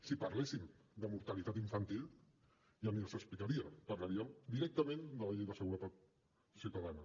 si parléssim de mortalitat infantil ja ni els ho explicaria parlaríem directament de la llei de seguretat ciutadana